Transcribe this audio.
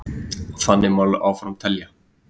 Og þannig má áfram telja.